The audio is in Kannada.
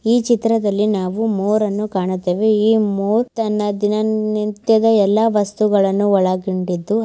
ಈ ಚಿತ್ರದಲ್ಲಿ ನಾವು ಮೋರ್ ಅನ್ನು ಕಾಣುತ್ತೇವೆ. ಈ ಮೊರ್ ಅನ್ನು ದಿನನಿತ್ಯದ ಎಲ್ಲಾ ವಸ್ತುಗಳನ್ನು ಒಳಗೊಂಡಿದ್ದು--